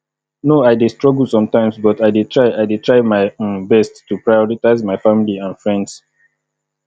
no i dey struggle sometimes but i dey try i dey try my um best to prioritize my family and friends